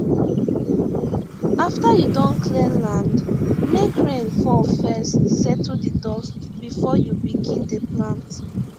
after you don clear land make rain fall first settle the dust before you begin dey plant